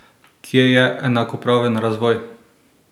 Kje je enakopraven razvoj?